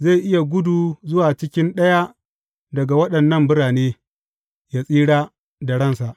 Zai iya gudu zuwa cikin ɗaya daga waɗannan birane, yă tsira da ransa.